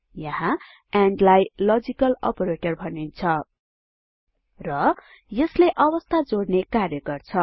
यहाँ एन्ड लाई logical operator भनिन्छ र यसले अवस्था जोडने कार्य गर्छ